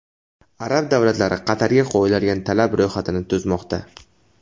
Arab davlatlari Qatarga qo‘yiladigan talablar ro‘yxatini tuzmoqda.